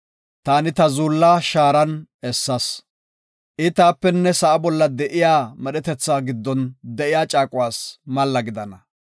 Taani ta zuulla shaaran essas. I taapenne sa7a bolla de7iya medhetetha giddon de7iya caaquwas malla gidana.